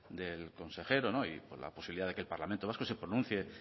del consejero y con la posibilidad de que el parlamento vasco se pronuncie